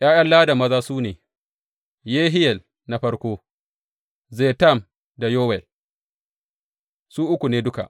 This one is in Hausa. ’Ya’yan Ladan maza su ne, Yehiyel na farko, Zetam da Yowel, su uku ne duka.